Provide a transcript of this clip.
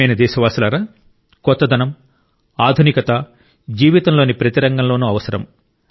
ప్రియమైన దేశవాసులారా కొత్తదనం ఆధునికత జీవితంలోని ప్రతి రంగంలోనూ అవసరం